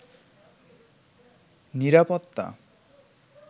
নিরাপত্তা